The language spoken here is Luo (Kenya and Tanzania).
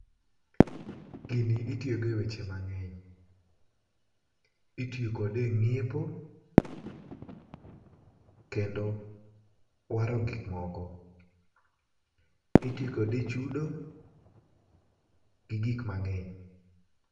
Gini itiyogo e weche mang'eny. Itiyo kode e ng'iepo, kendo waro gik moko. Iti kode e chudo, gi gik mang'eny.